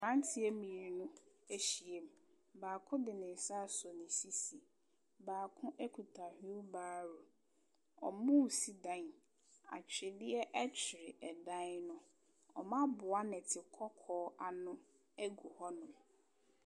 Mmeranteɛ mmienu ahyia mu, baako de ne nsa asɔ ne sisi, baako kita wheelbarrow, wɔresi dan. Atwedeɛ twere dan no, wɔaboa nnɛte kɔkɔɔ ano gu hɔnom.